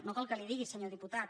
no cal que li ho digui senyor diputat